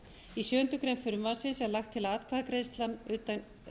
í sjöundu greinar frumvarpsins er lagt til að atkvæðagreiðsla utan